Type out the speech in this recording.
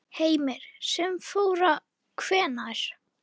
Heimir: Sem að fór hvenær?